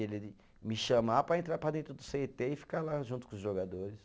Ele de me chamar para entrar para dentro do cê tê e ficar lá junto com os jogadores.